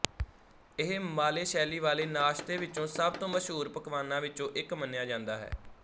ਇਹ ਮਾਲੇਸ਼ੈਲੀ ਵਾਲੇ ਨਾਸ਼ਤੇ ਵਿੱਚੋ ਸਭ ਤੋਂ ਮਸ਼ਹੂਰ ਪਕਵਾਨਾਂ ਵਿੱਚੋਂ ਇੱਕ ਮੰਨਿਆ ਜਾਂਦਾ ਹੈ